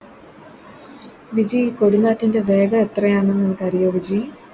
വിജി കൊടുംകാറ്റിൻറെ വേഗം എത്രയെണെന്ന് നിനക്ക് അറിയോ വിജി